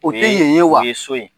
O tɛ yen ye wa?